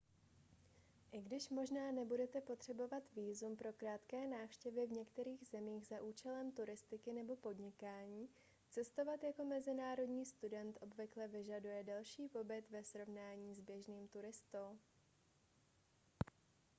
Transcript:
i když možná nebudete potřebovat vízum pro krátké návštěvy v některých zemích za účelem turistiky nebo podnikání cestovat jako mezinárodní student obvykle vyžaduje delší pobyt ve srovnání s běžným turistou